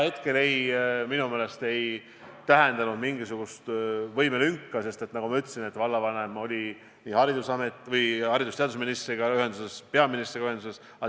Hetkel see minu meelest ei tähendanud mingisugust võimelünka, sest nagu ma ütlesin, oli vallavanem nii haridus- ja teadusministri kui ka peaministriga ühenduses.